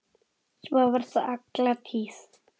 Svo var það alla tíð.